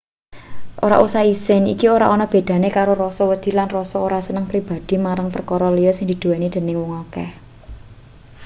ora usah isin iki ora ana bedane karo rasa wedi lan rasa ora seneng pribadhi marang perkara liya sing dinduweni dening wong akeh